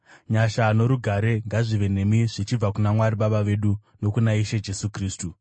Nyasha norugare ngazvive nemi zvichibva kuna Mwari Baba vedu nokuna Ishe Jesu Kristu,